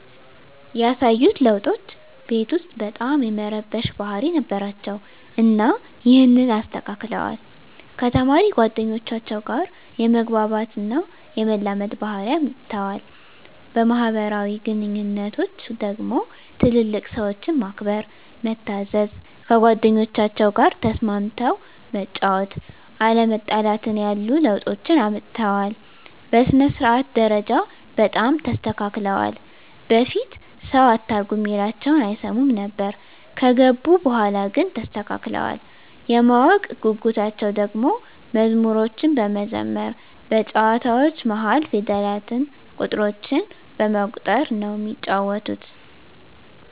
ያሳዩት ለዉጦች ቤት ዉስጥ በጣም የመረበሽ ባህሪ ነበራቸዉ እና ይሀንን አስተካክለዋል፣ ከተማሪ ጓደኞቻቸዉ ጋ የመግባባት እና የመላመድ ባህሪ አምጠዋል። በማህበራዊ ግንኙነቶች ደግሞ ትልልቅ ሰዎችን ማክበር፣ መታዘዝ፣ ከጓደኞቻቸዉ ጋ ተስማምተህ መጫወት፣ አለመጣላትን ያሉ ለዉጦችን አምጥተዋል። በሥነ-ስርዓት ደረጃ በጣም ተስተካክለዋል በፊት ሰዉ አታርጉ እሚላቸዉን አይሰሙም ነበር ከገቡ በኋላ ግን ተስተካክለዋል። የማወቅ ጉጉታቸዉ ደሞ መዝሙሮችን በመዘመር በጨዋታዎች መሀል ፊደላትን፣ ቁጥሮችን በመቁጠር ነዉ እሚጫወቱት።